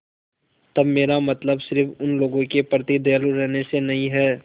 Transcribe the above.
तब मेरा मतलब सिर्फ़ उन लोगों के प्रति दयालु रहने से नहीं है